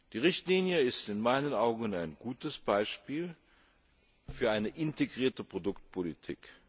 Die Richtlinie ist in meinen Augen ein gutes Beispiel für eine integrierte Produktpolitik.